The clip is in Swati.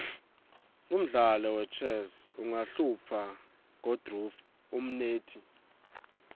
umdlalo wechess uqahlupha kodruh umnendti